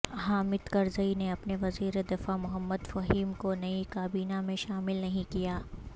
حامد کرزئی نے اپنے وزیر دفاع محمد فہیم کو نئی کابینہ میں شامل نہیں کیا